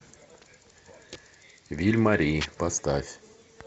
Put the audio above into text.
виль мари поставь